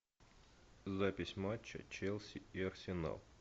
запись матча челси и арсенал